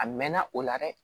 A mɛnna o la dɛ